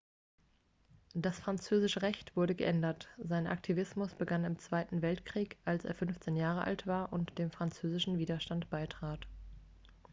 das französische recht wurde geändert sein aktivismus begann im zweiten weltkrieg als er 15 jahre alt war und dem französischen widerstand beitrat